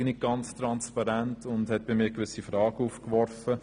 Das halte ich nicht für transparent, und es hat bei mir gewisse Fragen aufgeworfen.